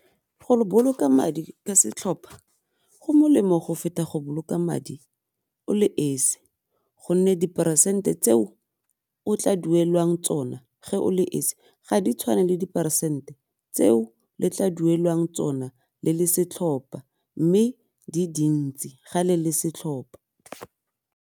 Go boloka madi ka setlhopha go molemo go feta go boloka madi o le esi gonne diperesente tseo o tla duelwang tsona ge o le esi ga di tshwane le diperesente tseo le tla duelwang tsona le le setlhopa mme di dintsi ga le le setlhopa.